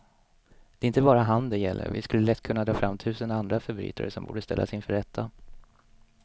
Det är inte bara han det gäller, vi skulle lätt kunna dra fram tusen andra förbrytare som borde ställas inför rätta.